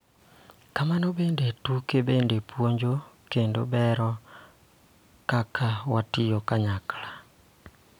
Kamano bende, tuke bende puonjo kendo bero kaka watiyo kanyakla .